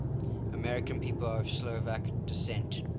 american people of slovak descent